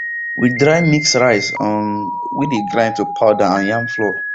we dry mix rice um wey dey grind to powder and yam flour